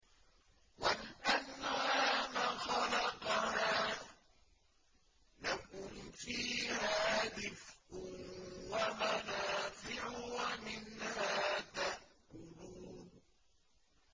وَالْأَنْعَامَ خَلَقَهَا ۗ لَكُمْ فِيهَا دِفْءٌ وَمَنَافِعُ وَمِنْهَا تَأْكُلُونَ